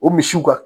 O misiw kan